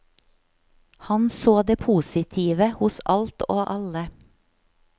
Han så det positive hos alt og alle.